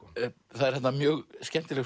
það er þarna mjög skemmtilegt